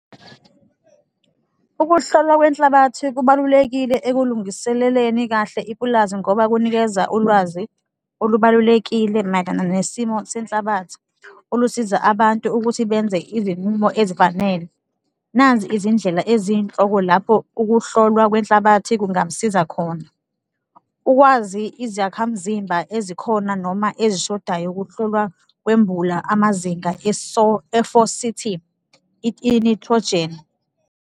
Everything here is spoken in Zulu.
Ukuhlolwa kwenhlabathi kubalulekile ekulungiseleleni kahle ipulazi ngoba kunikeza ulwazi olubalulekile mayelana nesimo senhlabathi, olusiza abantu ukuthi benze izinqumo ezifanele. Nazi izindlela eziyinhloko, lapho ukuhlolwa kwenhlabathi kungamsiza khona, ukwazi izakhamzimba ezikhona noma ezishodayo, ukuhlolwa kwembula amazinga i-nitrogen.